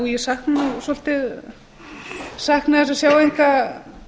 ég sakna þess svolítið að sjá enga